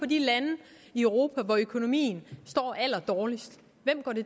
de lande i europa hvor økonomien er allerdårligst